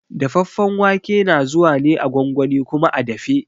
Dafaffen wake na zuwa ne a gwangwani kuma a dafe.